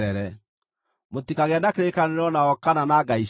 Mũtikagĩe na kĩrĩkanĩro nao kana na ngai ciao.